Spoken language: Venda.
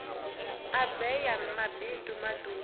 a bee ya mabindu matuku